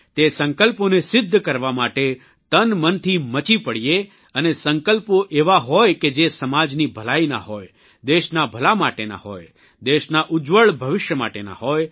તે સંકલ્પોને સિદ્ધ કરવા માટે તનમનથી મચી પડીએ અને સંકલ્પો એવા હોય કે જે સમાજની ભલાઇના હોય દેશના ભલા માટેના હોય દેશના ઉજ્જવળ ભવિષ્ય માટેના હોય